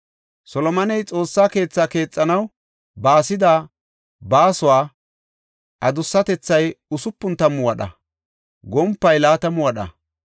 Solomoney Xoossa keethaa keexanaw baasida baasuwa adussatethay usupun tammu wadha; gompay laatamu wadha.